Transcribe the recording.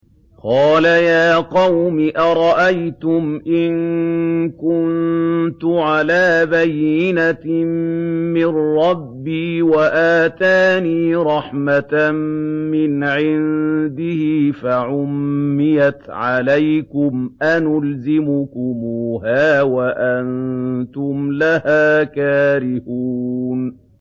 قَالَ يَا قَوْمِ أَرَأَيْتُمْ إِن كُنتُ عَلَىٰ بَيِّنَةٍ مِّن رَّبِّي وَآتَانِي رَحْمَةً مِّنْ عِندِهِ فَعُمِّيَتْ عَلَيْكُمْ أَنُلْزِمُكُمُوهَا وَأَنتُمْ لَهَا كَارِهُونَ